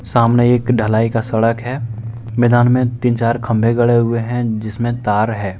सामने एक ढलाई का सड़क है मैदान में तीन चार खंभे गड़े हुएं हैं जिसमें तार है।